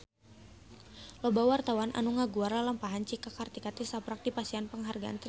Loba wartawan anu ngaguar lalampahan Cika Kartika tisaprak dipasihan panghargaan ti Presiden